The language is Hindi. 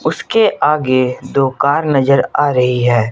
उसके आगे दो कार नजर आ रही है।